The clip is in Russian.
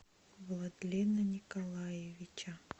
владлена николаевича